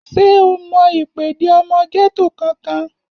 Ṣé o mọ ìpèdè ọmọ gẹ́tò kankan?